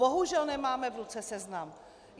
Bohužel nemáme v ruce seznam.